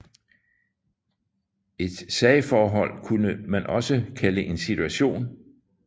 Et sagforhold kunne man også kalde en situation